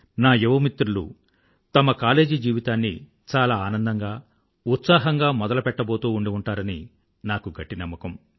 నా యువ మిత్రులు తమ కాలేజీ జీవితాన్ని చాలా ఆనందంగా ఉత్సాహంగా మెదలుపెట్టబోతూ ఉండి ఉంటారని నాకు గట్టి నమ్మకం